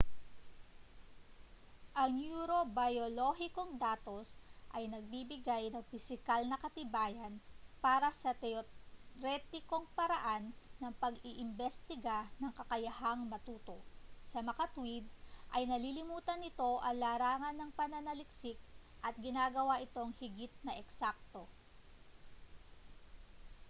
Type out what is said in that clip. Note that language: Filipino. ang neurobiyolohikong datos ay nagbibigay ng pisikal na katibayan para sa teoretikong paraan ng pag-iimbestiga ng kakayahang matuto samakatuwid ay nalilimitahan nito ang larangan ng pananaliksik at ginagawa itong higit na eksakto